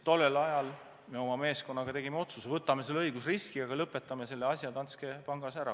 Tollel ajal me oma meeskonnaga viimaks tegimegi otsuse, et võtame selle õigusriski ja lõpetame selle asja Danske Bankis ära.